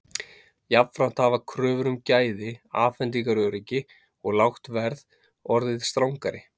Jafnframt hafa kröfur um gæði, afhendingaröryggi og lágt verð orðið strangari.